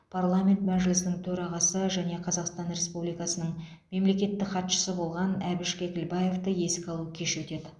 парламент мәжілісінің төрағасы және қазақстан республикасының мемлекеттік хатшысы болған әбіш кекілбаевты еске алу кеші өтеді